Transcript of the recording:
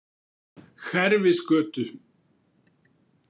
Hverfisgötu